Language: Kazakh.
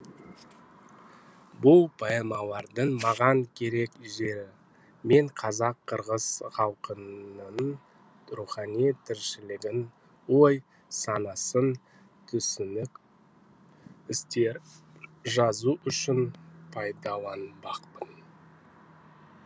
бұл поэмалардың маған керек жері мен қазақ қырғыз халқының рухани тіршілігін ой санасын түсінік істерін жазу үшін пайдаланбақпын